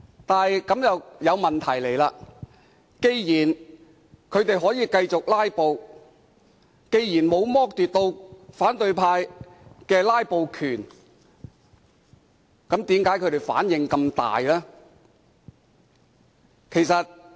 但是，這樣便帶出一個問題：既然他們可以繼續"拉布"，既然反對派的"拉布"權沒有被剝奪，他們為何反應這樣大？